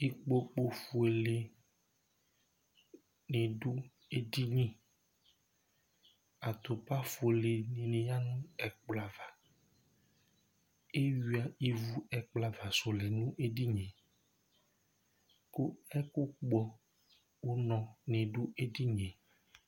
Ikpoku fʋele ni du edini Atupa fʋele ni ya ɛkplɔ ava Eyʋa ivu ɛkplɔ ava su ni lɛ nʋ edini ye kʋ ɛkʋ kpɔ ʋnɔ ni du edini ye